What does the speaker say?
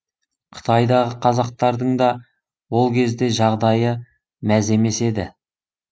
қытайдағы қазақтардың да ол кезде жағдайы мәз емес еді